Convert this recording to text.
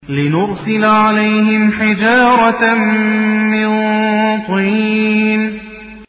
لِنُرْسِلَ عَلَيْهِمْ حِجَارَةً مِّن طِينٍ